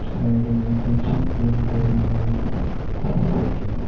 Side में कुछ window भी है शीशे की।